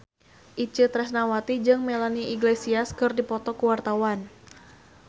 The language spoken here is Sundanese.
Itje Tresnawati jeung Melanie Iglesias keur dipoto ku wartawan